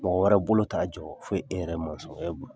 Mɔgɔ wɛrɛ bolo t'a jɔ, fo e yɛrɛ masɔnkɛ